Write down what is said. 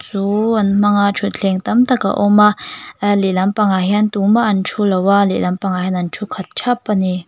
chu an hmang a ṭhuthleng tam tak a awm a a lehlam pangah hian tumah an ṭhu lo va lehlam pangah hian an ṭhu khat ṭhap a ni.